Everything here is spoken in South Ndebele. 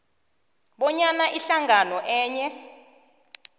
bonyana ihlangano enye